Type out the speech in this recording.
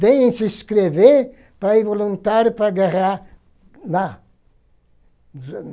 Veem se inscrever para ir voluntário para guerrear lá.